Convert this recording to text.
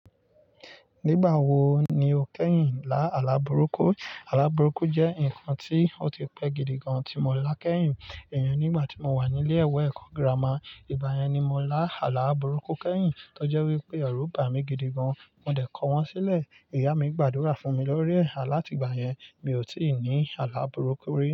Nígbà wo ni o kẹ́yìn lá àlaà búrúkú? Àlaà búrúkú jẹ́ ǹkan tí ó ti pẹ́ gidi gan tí mo lá kẹ́yìn iyen nígbà tí mo wà nílé ìwé ẹ̀kọ́ gírámà. Ìgbà yẹn ni mo lá àlaa búrúkú kẹ́yìn tó jẹ́ wípé ẹ̀rù bàmí gidi gan. Mo dẹ̀ kọ́ wọn sílẹ̀. Ìyá mi gbàdúrà fún mi lórí ẹ̀ láti ìgbà yẹn, mi ò tí ì ní àlaà búrúkú rí.